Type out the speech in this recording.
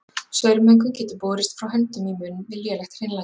Saurmengun getur borist frá höndum í munn við lélegt hreinlæti.